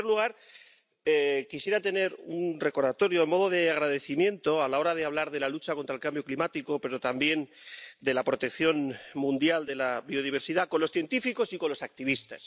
En primer lugar, quisiera hacer un recordatorio a modo de agradecimiento, a la hora de hablar de la lucha contra el cambio climático, pero también de la protección mundial de la biodiversidad, a los científicos y los activistas.